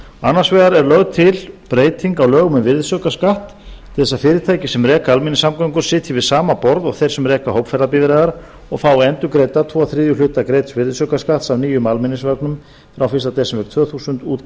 annars vegar er lögð til breyting á lögum um virðisaukaskatt til þess að fyrirtæki sem reka almenningssamgöngur sitji við sama borð og þeir sem reka hópferðabifreiðar og fá endurgreidda tvo þriðju hluta greidds virðisaukaskatts af nýjum almenningsvögnum frá fyrsta desember tvö þúsund út